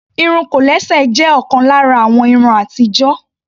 Irun kòlẹ́sẹ̀ jé òkan lára àwọn irun atijo.